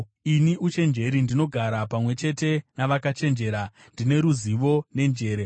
“Ini, uchenjeri ndinogara pamwe chete navakachenjera; ndine ruzivo nenjere.